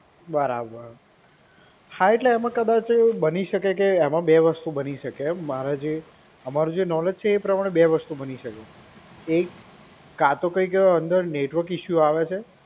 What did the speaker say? બરાબર, હા એટલે એમાં કદાચ બની શકે કે એમાં બે વસ્તુ બની શકે. મારે જે અમારું જે નોલેજ છે એ પ્રમાણે બે વસ્તુ બની શકે. એક કાં તો કઈંક અંદર નેટવર્ક ઇશ્યૂ આવે છે.